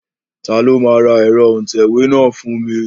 Ta ló máa ra ẹ̀rọ òǹtẹ̀wé náà fún mi?